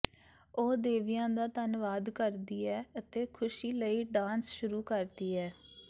ਉਹ ਦੇਵੀਆਂ ਦਾ ਧੰਨਵਾਦ ਕਰਦੀ ਹੈ ਅਤੇ ਖੁਸ਼ੀ ਲਈ ਡਾਂਸ ਸ਼ੁਰੂ ਕਰਦੀ ਹੈ